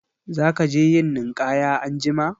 Za ka je yin ninƙaya anjima?